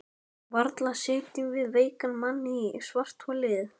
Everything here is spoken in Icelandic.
Varla setjum við veikan mann í svartholið?